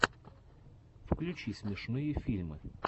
включи смешные фильмы